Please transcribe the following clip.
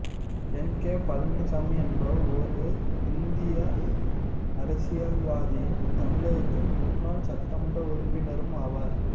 என் K Palaniswami என்பவர் ஓர் இந்திய அரசியல்வாதியும் தமிழகத்தின் முன்னாள் சட்டமன்ற உறுப்பினரும் ஆவார்